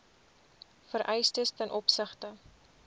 vereistes ten opsigte